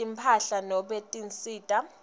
timphahla nobe tinsita